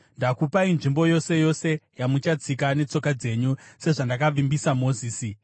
Ndakupai nzvimbo yose yose yamuchatsika netsoka dzenyu, sezvandakavimbisa Mozisi.